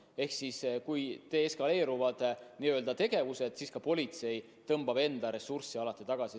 Ehk siis: kui tegevus deeskaleerub, siis politsei tõmbab enda ressursse tagasi.